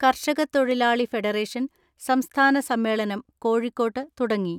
കർഷക തൊഴിലാളി ഫെഡറേഷൻ സംസ്ഥാന സമ്മേളനം കോഴിക്കോട്ട് തുടങ്ങി.